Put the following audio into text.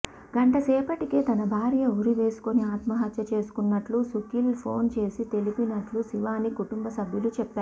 గంటసేపటికే తన భార్య ఉరి వేసుకొని ఆత్మహత్య చేసుకున్నట్టు సుఖిత్ ఫోన్ చేసి తెలిపినట్లు శివాని కుటంబ సభ్యులు చెప్పారు